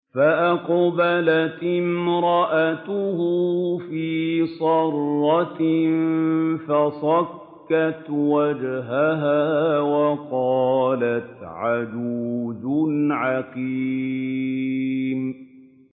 فَأَقْبَلَتِ امْرَأَتُهُ فِي صَرَّةٍ فَصَكَّتْ وَجْهَهَا وَقَالَتْ عَجُوزٌ عَقِيمٌ